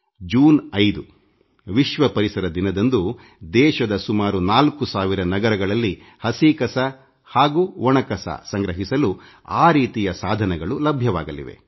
June 5ರ ವಿಶ್ವ ಪರಿಸರ ದಿನದಂದು ದೇಶದ ಸುಮಾರು 4 ಸಾವಿರ ನಗರಗಳಲ್ಲಿ ಹಸಿ ತ್ಯಾಜ್ಯ ಹಾಗೂ ಒಣ ತ್ಯಾಜ್ಯ ಸಂಗ್ರಹಿಸಲು ಆ ರೀತಿಯ ಸಾಧನಗಳು ಲಭ್ಯವಾಗಲಿವೆ